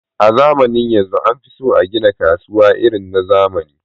a zamanin yanzu anfiso agina kasuwa irin na zamani